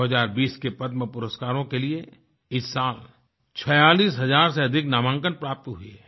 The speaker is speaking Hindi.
2020 के पद्मपुरस्कारों के लिए इस साल 46 हज़ार से अधिक नामांकन प्राप्त हुए हैं